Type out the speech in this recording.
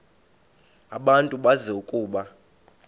abantu bazi ukuba